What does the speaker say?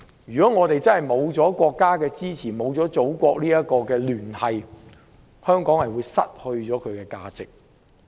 如果我們失去了國家的支持，失去祖國的聯繫，香港便會失去價值。